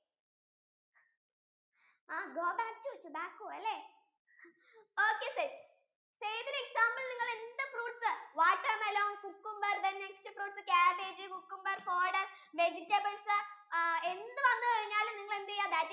go back to tobacco അല്ലെ okay set zaid ഇന് example നിങ്ങൾ എന്ത് fruits, watermelon, cucumber then next fruits cabbage cucumber vegetables എന്ത് വന്നു കഴിഞ്ഞാലും നിങ്ങൾ എന്ത് ചെയ്യാ?